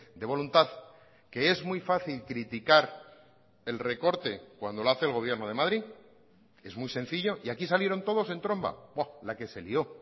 de voluntad que es muy fácil criticar el recorte cuando lo hace el gobierno de madrid es muy sencillo y aquí salieron todos en tromba la que se lio